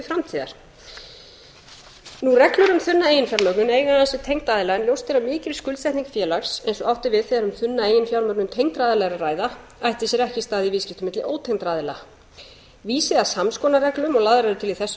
framtíðar reglur um þunna eiginfjármögnun eiga aðeins við tengda aðila en ljóst er að mikil skuldsetning félags eins og átt er við þegar um þunna eiginfjármögnun tengdra aðila er að ræða ætti sér ekki stað í viðskiptum milli ótengdra aðila vísi að samskonar reglum og lagðar eru til í þessu